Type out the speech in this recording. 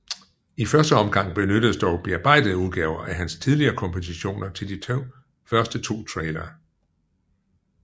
I første omgang benyttedes dog bearbejdede udgaver af hans tidligere kompositioner til de første to trailere